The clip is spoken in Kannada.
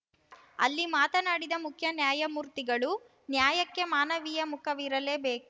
ಅಲ್ಲಿ ಮಾತನಾಡಿದ ಮುಖ್ಯ ನ್ಯಾಯಮೂರ್ತಿಗಳು ನ್ಯಾಯಕ್ಕೆ ಮಾನವೀಯ ಮುಖವಿರಲೇಬೇಕು